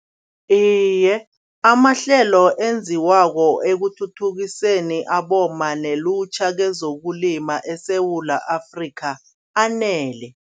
Iye amahlelo enziwako ekuthuthukiseni abomma nelutjha kezokulima eSewula Afrika anele.